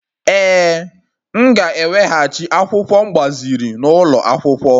Ee, m ga-eweghachi akwụkwọ m gbaziri n'ụlọ akwụkwọ.